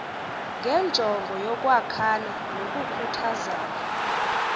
ngenjongo yokwakhana nokukhuthazana